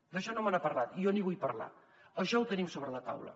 d’això no me n’ha parlat i jo n’hi vull parlar això ho tenim sobre la taula